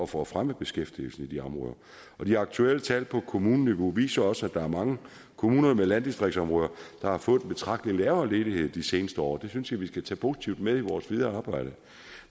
for at fremme beskæftigelsen i de områder de aktuelle tal på kommuneniveau viser også at der er mange kommuner med landdistriktsområder der har fået en betragtelig lavere ledighed de seneste år det synes jeg vi skal tage positivt med i vores videre arbejde